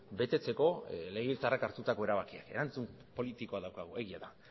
betetzeko legebiltzarrak hartutako erabakiak erantzun politikoa daukagu egia da